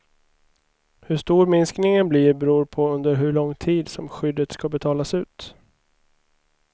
Hur stor minskningen blir beror på under hur lång tid som skyddet ska betalas ut.